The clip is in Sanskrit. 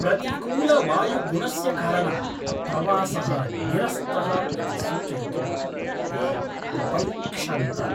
प्रतिकूलवायुगुणस्य कारणात् प्रवासः निरस्तः इति सूचयितुं ते उपैक्षन्त।